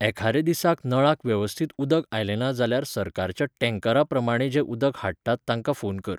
एखादे दिसाक नळाक वेवस्थीत उदक आयलें ना जाल्यार सरकारच्या टेंकरा प्रमाणें जें उदक हाडटात तांकां फोन कर.